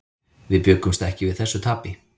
Við bjuggumst ekki við þessu tapi.